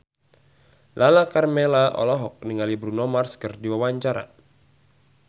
Lala Karmela olohok ningali Bruno Mars keur diwawancara